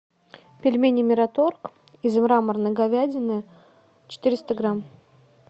пельмени мираторг из мраморной говядины четыреста грамм